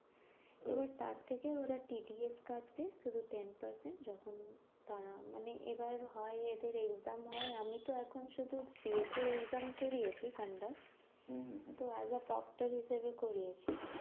এবার তার থেকে ওরা TDS কাটবে শুধু ten percent যখন তারা মানে এবার হয় এদের exam হয়। আমি তো এখন শুধু cef এর exam করিয়েছি কানাডায়, তো as a propter হিসাবে করিয়েছি।